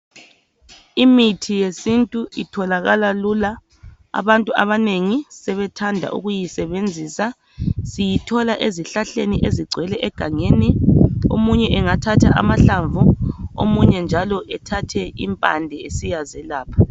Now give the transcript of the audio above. Imithi yesintu itholakala lula. Abantu abanengi sebethanda ukuyisebenzisa. Siyithola ezihlahleni ezigcwele egangeni. Omunye engathatha amahlamvu, omunye njalo ethathe impande esiyazelapha.